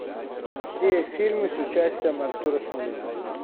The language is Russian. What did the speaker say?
все фильмы с участием артура смольянинова